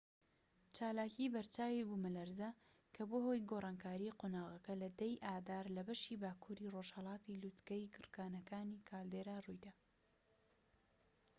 چالاکی بەرچاوی بوومەلەرزە کە بووە هۆی گۆڕانکاری قۆناغەکە لە 10 ی ئادار لە بەشی باکووری ڕۆژهەڵاتی لووتکەی گڕکانی کالدێرا ڕوویدا